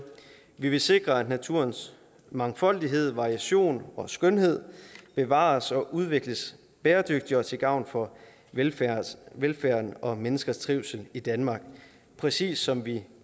vi vil sikre at naturens mangfoldighed variation og skønhed bevares og udvikles bæredygtigt og til gavn for velfærden velfærden og menneskers trivsel i danmark præcis som vi